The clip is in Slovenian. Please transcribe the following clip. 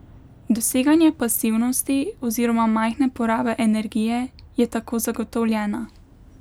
Doseganje pasivnosti oziroma majhne porabe energije je tako zagotovljena.